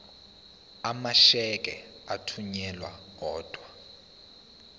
amasheke athunyelwa odwa